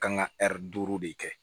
Kan ka duuru de kɛ